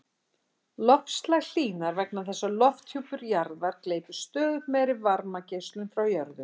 Loftslag hlýnar vegna þess að lofthjúpur jarðar gleypir stöðugt meiri varmageislun frá jörðu.